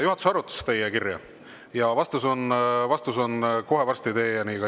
Juhatus arutas teie kirja ja vastus jõuab kohe varsti teieni.